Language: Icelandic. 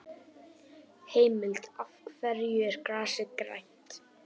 Heimild: Af hverju er grasið grænt?